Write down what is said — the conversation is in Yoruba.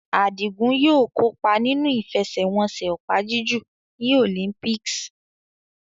Adigun yóò kópa nínú ìfẹsẹ̀wọnsẹ̀ opa-jiju ní Olympics.